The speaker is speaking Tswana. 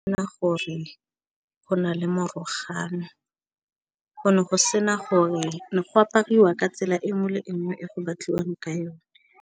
Nna gore go na le morogo yang go ne go sena gore go apariwa ka tsela e nngwe le nngwe e go batliwang ka yone.